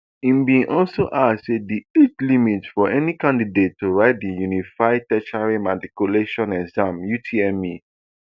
im bin also add say di age limit for any candidate to write di unified tertiary matriculation examination utme